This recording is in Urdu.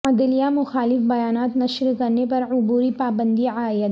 عدلیہ مخالف بیانات نشر کرنے پر عبوری پابندی عائد